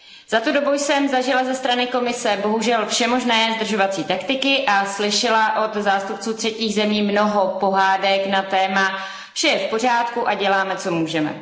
Za tu dobu jsem zažila ze strany Komise bohužel všemožné zdržovací taktiky a slyšela od zástupců třetích zemí mnoho pohádek na téma vše je v pořádku a děláme, co můžeme.